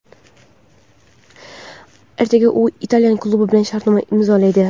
Ertaga u italyan klubi bilan shartnoma imzolaydi;.